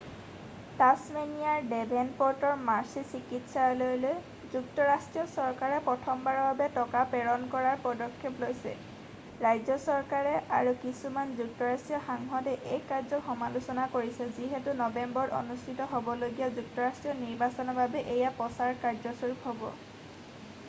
"টাছমেনিয়াৰ ডেভেনপ'ৰ্টৰ মাৰ্ছি চিকিৎসালয়ললৈ যুক্তৰাষ্ট্ৰীয় চৰকাৰে প্ৰথমবাৰৰ বাবে টকা প্ৰেৰণ কৰাৰ পদক্ষেপ লৈছে ৰাজ্য চৰকাৰ আৰু কিছুমান যুক্তৰাষ্ট্ৰীয় সাংসদে এই কাৰ্যক সমালোচনা কৰিছে যিহেতু নৱেম্বৰত অনুষ্ঠিত হ'বলগীয়া যুক্তৰাষ্ট্ৰীয় নিৰ্বাচনৰ বাবে এয়া প্ৰচাৰ কাৰ্যস্বৰূপ হ'ব। "